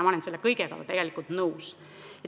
Ma olen selle kõigega tegelikult nõus.